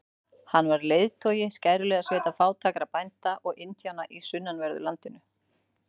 Hann var leiðtogi skæruliðasveita fátækra bænda og indjána í sunnanverðu landinu.